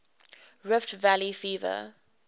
rift valley fever